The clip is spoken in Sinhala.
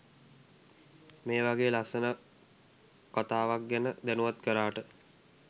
මේවගෙ ලස්සන කතාවක්ගැන දැනුවත් කරාට.